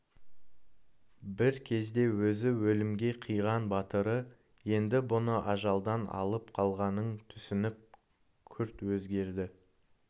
бір кезде өзі өлімге қиған батыры енді бұны ажалдан алып қалғанын түсініп күрт өзгерді